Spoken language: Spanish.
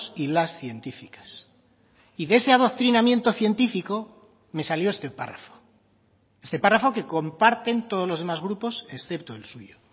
y las científicas y de ese adoctrinamiento científico me salió este párrafo este párrafo que comparten todos los demás grupos excepto el suyo